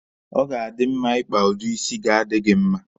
Ọ ga-adi mma Ị kpa udi isi ga-adi gị mma.